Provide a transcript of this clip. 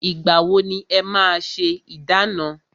Ìgbà wọ ni e máa ṣé ìdána?